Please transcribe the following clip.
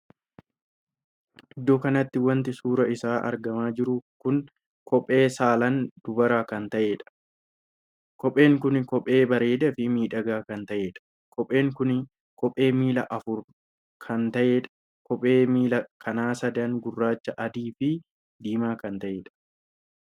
Iddoo kanatti wanti suuraan isaa argamaa jiru kun kophee saalaan dubara kan taheedha. kopheen kun kophee bareedaa fi miidhagaa kan tahedha. kopheen kun kophee miilla afurii kan taheedha. kophee miilla kana sadanii gurraacha ,adii fin diimaa kan tahedha.